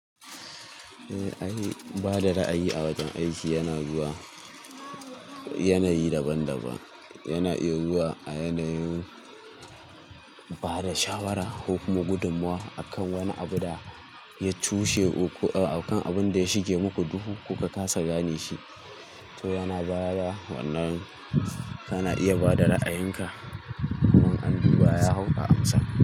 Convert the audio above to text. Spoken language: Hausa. Eh, ai. Ba da ra'ayi a wajen aiki yana zuwa yanayi daban-daban. Yana iya zuwa a yanayin ba da shawara ko kuma gudummowa akan wani abu da ya cushe ko akan abun da ya shige muku duhu kuka kasa gane shi. To yana baya, wannan kana iya bada ra'ayinka kuma an duba ya hau a amsa.